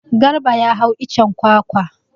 Garba ya hau icen kwakwa.